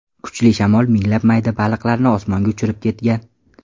Kuchli shamol minglab mayda baliqlarni osmonga uchirib ketgan.